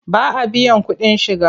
Ba a biyan kuɗin shiga.